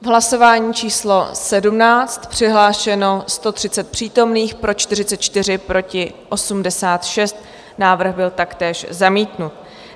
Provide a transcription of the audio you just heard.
V hlasování číslo 17 přihlášeno 130 přítomných, pro 44 proti 86 návrh byl taktéž zamítnut.